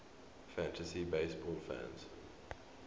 fantasy baseball fans